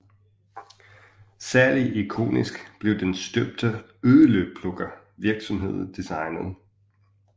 Særlig ikonisk blev den støbte øloplukker virksomheden designede